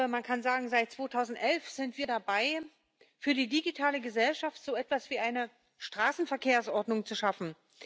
Man kann sagen Seit 2011 sind wir dabei, für die digitale Gesellschaft so etwas wie eine Straßenverkehrsordnung zu schaffen.